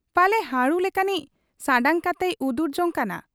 ᱯᱟᱞᱮ ᱦᱟᱹᱬᱩ ᱞᱮᱠᱟᱱᱤᱡ ᱥᱟᱱᱰᱟᱝ ᱠᱟᱛᱮᱭ ᱩᱫᱩᱨ ᱡᱚᱝ ᱠᱟᱱᱟ ᱾